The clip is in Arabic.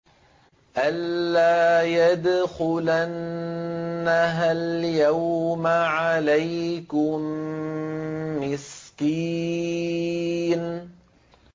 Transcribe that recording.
أَن لَّا يَدْخُلَنَّهَا الْيَوْمَ عَلَيْكُم مِّسْكِينٌ